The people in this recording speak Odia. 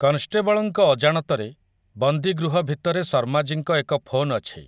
କନଷ୍ଟେବଳଙ୍କ ଅଜାଣତରେ, ବନ୍ଦୀଗୃହଭିତରେ ଶର୍ମାଜୀଙ୍କ ଏକ ଫୋନ୍ ଅଛି ।